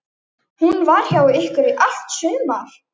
Hún var hjá ykkur í allt sumar.